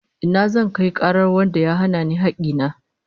Ina zan kai karar wanda ya hana ni hakki na?